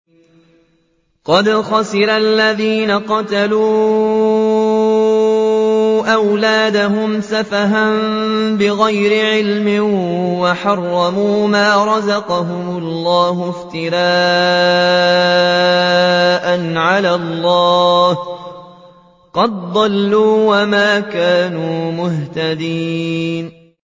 قَدْ خَسِرَ الَّذِينَ قَتَلُوا أَوْلَادَهُمْ سَفَهًا بِغَيْرِ عِلْمٍ وَحَرَّمُوا مَا رَزَقَهُمُ اللَّهُ افْتِرَاءً عَلَى اللَّهِ ۚ قَدْ ضَلُّوا وَمَا كَانُوا مُهْتَدِينَ